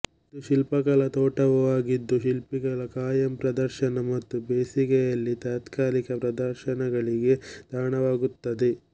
ಇದು ಶಿಲ್ಪಕಲಾ ತೋಟವೂ ಆಗಿದ್ದು ಶಿಲ್ಪಗಳ ಖಾಯಂ ಪ್ರದರ್ಶನ ಮತ್ತು ಬೇಸಿಗೆಯಲ್ಲಿ ತಾತ್ಕಾಲಿಕ ಪ್ರದರ್ಶನಗಳಿಗೆ ತಾಣವಾಗುತ್ತದೆ